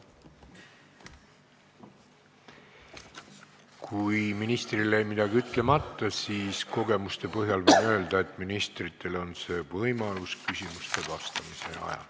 Kui ministril jäi midagi ütlemata, siis kogemuste põhjal võin öelda, et ta saab selleks võimaluse küsimustele vastamise ajal.